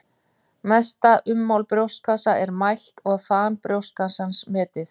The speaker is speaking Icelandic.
Mesta ummál brjóstkassa er mælt og þan brjóstkassans metið.